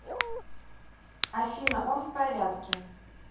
афина он в порядке